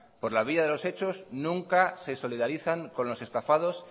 por la vía de los hechos nunca se solidarizan con los estafados